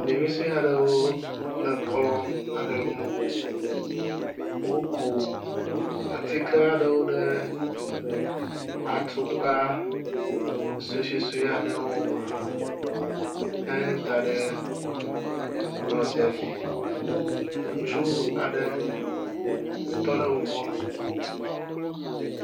ɖevisoeaɖewo le kplɔ aɖe ŋu, wóku atikeaɖewo ɖe atukpa sososoeaɖewo me he daɖe kplɔ sia dzi, ŋutsu aɖe tɔɖe wogbɔ